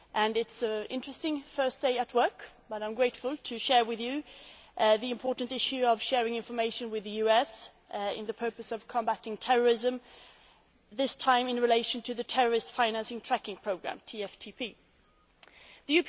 It is an interesting first day at work and I am grateful to share with you the important issue of sharing information with the US for the purpose of combating terrorism, this time in relation to the Terrorist Finance Tracking Programme The